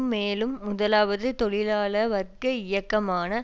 மேலும் முதலாவது தொழிலாள வர்க்க இயக்கமான